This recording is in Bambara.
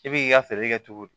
I b'i k'i ka feere kɛ cogo di